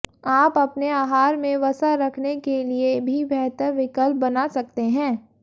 आप अपने आहार में वसा रखने के लिए भी बेहतर विकल्प बना सकते हैं